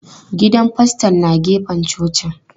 Gidan faston na gefen cocin.